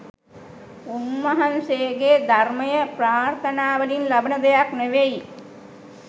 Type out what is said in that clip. උන්වහන්සේගේ ධර්මය ප්‍රාර්ථනාවලින් ලබන දෙයක් නෙවෙයි